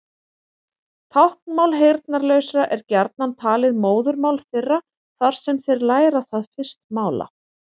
Táknmál heyrnarlausra er gjarnan talið móðurmál þeirra þar sem þeir læra það fyrst mála.